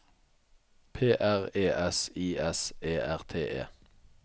P R E S I S E R T E